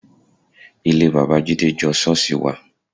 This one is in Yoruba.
Ilé bàbá Jídé jọ ṣọ́ọ̀ṣì wa